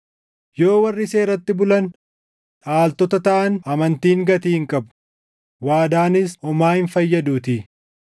Yoo warri seeratti bulan dhaaltota taʼan, amantiin gatii hin qabu; waadaanis homaa hin fayyaduutii;